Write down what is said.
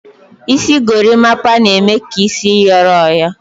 Isi gorimapa na-eme ka isi yoro oyo